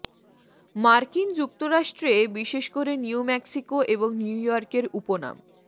মার্কিন যুক্তরাষ্ট্রে বিশেষ করে নিউ মেক্সিকো এবং নিউইয়র্কের উপনাম